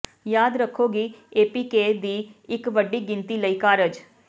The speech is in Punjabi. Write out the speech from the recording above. ਯਾਦ ਰੱਖੋ ਕਿ ਏਪੀਕੇ ਦੀ ਇੱਕ ਵੱਡੀ ਗਿਣਤੀ ਲਈ ਕਾਰਜ